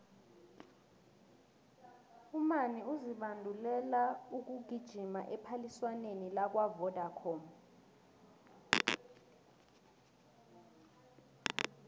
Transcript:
umani uzibandulela ukugijima ephaliswaneni lakwavodacom